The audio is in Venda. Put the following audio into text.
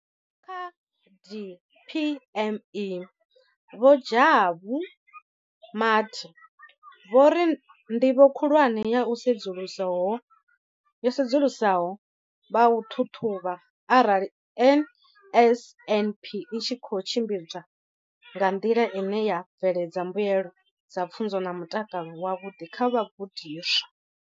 Kha DPME, Vho Jabu Mathe, vho ri ndivho khulwane ya u sedzulusa ho vha u ṱhaṱhuvha arali NSNP i tshi khou tshimbidzwa nga nḓila ine ya bveledza mbuelo dza pfunzo na mutakalo wavhuḓi kha vhagudiswa.